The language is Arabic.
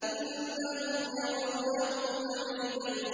إِنَّهُمْ يَرَوْنَهُ بَعِيدًا